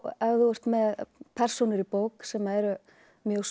ef þú ert með persónur í bók sem eru mjög svona